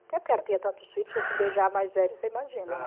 Até porque ela tinha tantos filhos, se fosse beijar a mais velha, você imagina, né?